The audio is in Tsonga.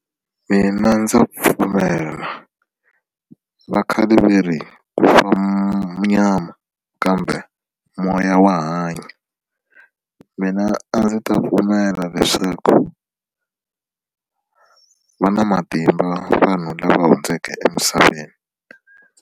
Mina ndza pfumela va khale va ri ku fa nyama kambe moya wa hanya mina a ndzi ta pfumela leswaku va na matimba vanhu lava hundzeke emisaveni.